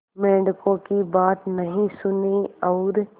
मेंढकों की बात नहीं सुनी और